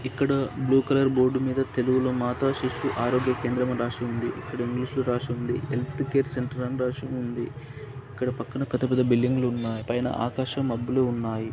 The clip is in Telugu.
ఇక్కడ బ్లూ కలర్ బోర్డు మీద తెలుగులో మాతాశిశు ఆరోగ్య కేంద్రం అని రాసుంది .ఇక్కడ ఇంగ్లిష్ లో రాసుంది హెల్త్ కేర్ సెంటర్ అని రాసి ఉంది. ఇక్కడ పక్కన పెద్ద-పెద్ద బిల్డింగులు ఉన్నాయి పైన ఆకాశం మబ్బులు ఉన్నాయి .